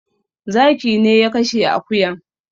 Zaki ne ya kashe akuyan